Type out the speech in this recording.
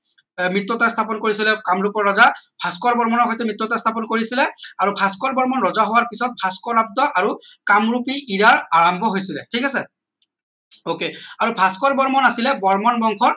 মৃত্যতা স্থাপন কৰিছিলে কামৰূপৰ ৰজা ভাস্কৰ বৰ্মনৰ সৈতে মৃত্যতা স্থাপন কৰিছিলে আৰু ভাস্কৰ বৰ্মন ৰজা হোৱাৰ পিছত ভাস্কৰ আব্দ আৰু কামৰূপী ঈৰা আৰাম্ভ হৈছিলে ঠিক আছে ok আৰু ভাস্কৰ বৰ্মন আছিলে বৰ্মন বংশ